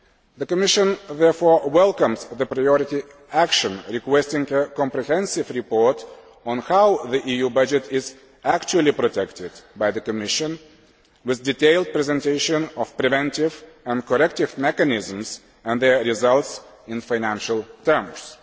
The Commission, therefore, welcomes the priority action requesting a comprehensive report on how the EU budget is actually protected by the Commission, with a detailed presentation of preventive and corrective mechanisms and their results in financial terms.